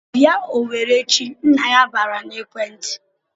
"Bịa Owerri échi!" Nna ya bara n'ekwentị.